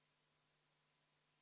Austatud komisjoni esindaja!